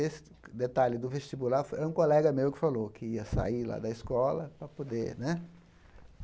Esse detalhe do vestibular foi é um colega meu que falou que ia sair lá da escola para poder né.